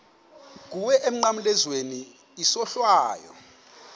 kuwe emnqamlezweni isohlwayo